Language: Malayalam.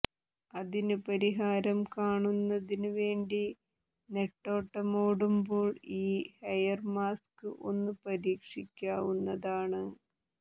അതിന് പരിഹാരം കാണുന്നതിന് വേണ്ടി നെട്ടോട്ടമോടുമ്പോൾ ഈ ഹെയർമാസ്ക് ഒന്ന് പരീക്ഷിക്കാവുന്നതാണ്